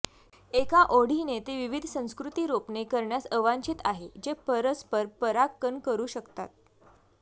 एका ओढीने ते विविध संस्कृती रोपणे करण्यास अवांछित आहे जे परस्पर परागकण करू शकतात